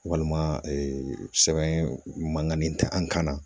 Walima sɛbɛn mankanni tɛ an kan na